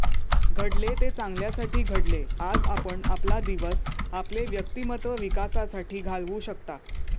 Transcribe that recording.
घडले ते चांगल्यासाठी घडले आज आपण आपला दिवस आपले व्यक्तिमत्त्व विकासासाठी घालवू शकता